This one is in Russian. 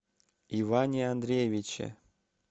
иване андреевиче